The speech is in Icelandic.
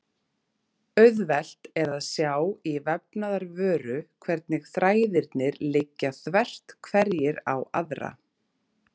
Auðvelt er að sjá í vefnaðarvöru hvernig þræðirnir liggja þvert hverjir á aðra.